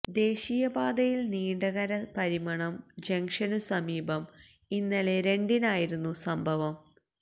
ദേശീയപാതയിൽ നീണ്ടകര പരിമണം ജംക്ഷനു സമീപം ഇന്നലെ രണ്ടിനായിരുന്നു സംഭവം